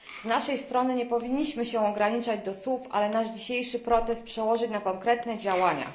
Z naszej strony nie powinniśmy się ograniczać do słów, ale nasz dzisiejszy protest przełożyć na konkretne działania.